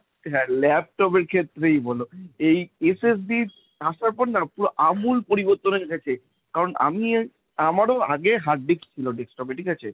হ্যাঁ laptop এর ক্ষেত্রেই বল, এই SST র আসার পর না পুরো আমূল পরিবর্তন হয়ে গেছে। কারণ আমি এ~ আমারও আগে hard disc ছিল desktop এ ঠিক আছে?